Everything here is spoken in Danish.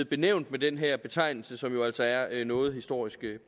benævnes med den her betegnelse som jo altså er noget historisk